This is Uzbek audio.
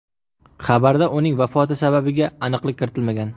Xabarda uning vafoti sababiga aniqlik kiritilmagan.